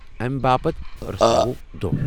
امہ باپت رژھراوو دوہ ۔